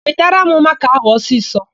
Wetara m makaa áhụ̀ ọsisọ!